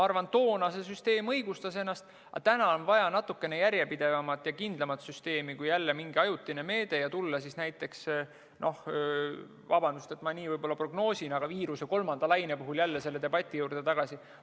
Toona see süsteem õigustas ennast, aga täna on vaja natukene järjepidevamat ja kindlamat süsteemi kui jälle mingi ajutine meede ning tulla siis näiteks vabandust, et ma niimoodi prognoosin – viiruse kolmanda laine puhul jälle selle debati juurde tagasi.